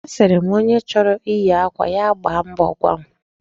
Asịrị m, onye chọrọ iyi akwa, ya gbaa mbọ gwa m.